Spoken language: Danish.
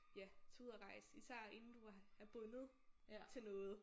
Ja tag ud og rejs især inden du er er bundet til noget